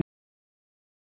Hún bjargar málunum.